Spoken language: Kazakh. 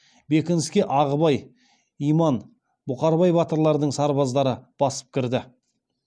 бекініске ағыбай иман бұқарбай батырлардың сарбаздары басып кірді